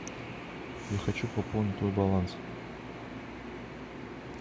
я хочу пополнить твой баланс